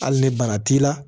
Hali ni bara t'i la